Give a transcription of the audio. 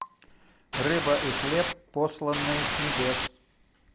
рыба и хлеб посланные с небес